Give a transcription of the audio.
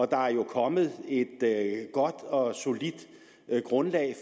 der er jo kommet et godt og solidt grundlag